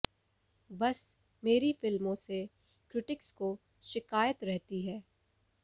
बस मेरी फिल्मों से क्रिटिक्स को शिकायत रहती है